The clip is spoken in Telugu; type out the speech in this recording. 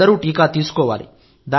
అందరూ టీకా తీసుకోవాలి